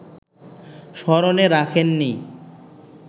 স্মরণে রাখেননি